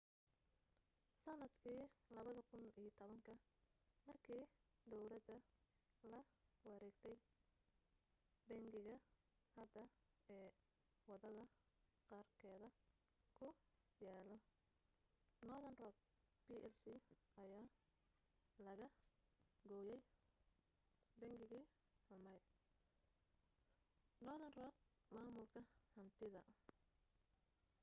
sanadkii 2010 markii dawladda la wareegtay bangiga hadda ee wadada qarkeeda ku yaalo northern rock plc ayaa laga gooyay ‘bangigii xumaa’ northern rock maamulka hantida